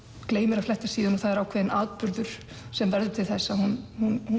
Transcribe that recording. gleymir að fletta síðunni og það er ákveðinn atburður sem verður til þess að hún